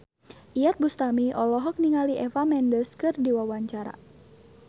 Iyeth Bustami olohok ningali Eva Mendes keur diwawancara